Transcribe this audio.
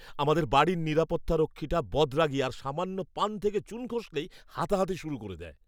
আমাদের বাড়ির নিরাপত্তারক্ষীটা বদরাগী আর সামান্য পান থেকে চুন খসলেই হাতাহাতি শুরু করে দেয়।